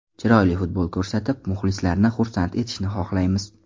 Chiroyli futbol ko‘rsatib, muxlislarni xursand etishni xohlaymiz.